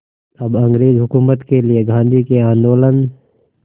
अब अंग्रेज़ हुकूमत के लिए गांधी के आंदोलन